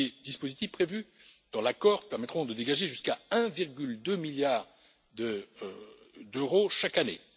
Les dispositifs prévus dans l'accord permettront de dégager jusqu'à 1,2 milliard d'euros chaque année.